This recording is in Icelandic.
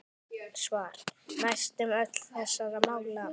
Svar: Næstum öll þessara mála